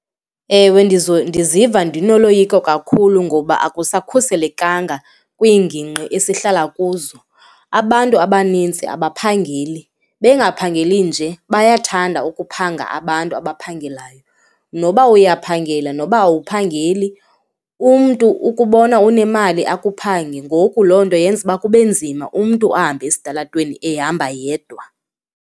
Ewe, ndiziva ndinoloyiko kakhulu ngoba akusakhuselekanga kwiingingqi esihlala kuzo. Abantu abanintsi abaphangeli, bengaphangeli nje bayathanda ukuphanga abantu abaphangelayo. Noba uyaphangela, noba awuphangeli, umntu ukubona unemali akuphephange. Ngoku loo nto yenza ukuba kube nzima umntu ahambe esitalatweni ehamba yedwa.